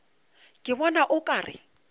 ke bona o ka re